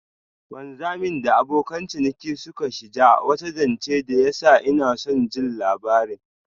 Wanzamin da abokan ciniki suka shija wata janche da ya sa inason jin labarin.